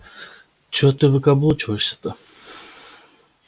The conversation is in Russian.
че ты выкаблучиваешься-то